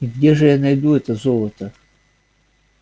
и где же я найду это золото